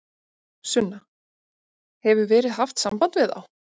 Sunna: Hefur verið haft samband við þá?